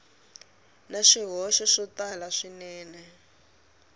na swihoxo swo tala swinene